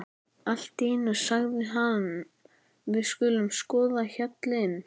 Allt í einu sagði hann: Við skulum skoða hjallinn.